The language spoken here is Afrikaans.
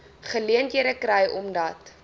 geleenthede kry omdat